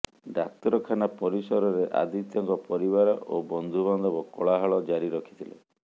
ଡାକ୍ତରଖାନା ପରିସରରେ ଆଦିତ୍ୟଙ୍କ ପରିବାର ଓ ବନ୍ଧୁବାନ୍ଧବ କୋଳାହଳ ଜାରି ରଖିଥିଲେ